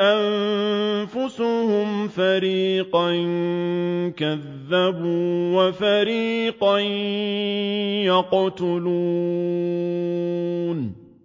أَنفُسُهُمْ فَرِيقًا كَذَّبُوا وَفَرِيقًا يَقْتُلُونَ